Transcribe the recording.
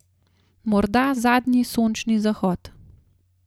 Morda zadnji sončni zahod.